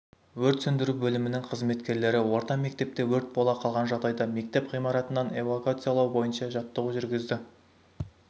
өрт сөндіру бөлімінің қызметкерлері орта мектепте өрт бола қалған жағдайда мектеп ғимаратынан эвакуациялау бойынша жаттығу жүргізді